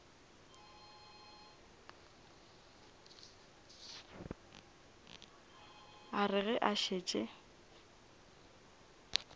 a re ge a šetše